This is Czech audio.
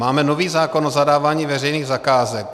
Máme nový zákon o zadávání veřejných zakázek.